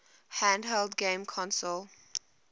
handheld game console